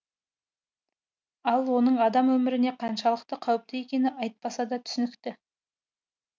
ал оның адам өміріне қаншалықты қауіпті екені айтпаса да түсінікті